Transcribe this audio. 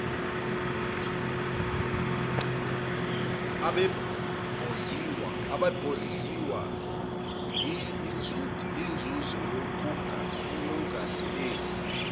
abebondliwa yinzuzo yokungasebenzi